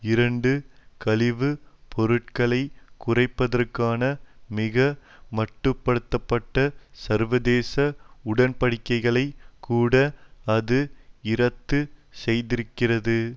இரண்டு கழிவுப் பொருட்களை குறைப்பதற்கான மிக மட்டு படுத்த பட்ட சர்வதேச உடன்படிக்கைகளை கூட அது இரத்து செய்திருக்கிறது